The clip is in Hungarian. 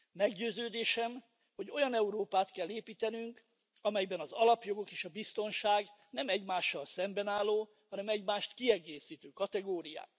Meggyőződésem, hogy olyan Európát kell építenünk, amelyben az alapjogok és a biztonság nem egymással szemben álló, hanem egymást kiegészítő kategóriák.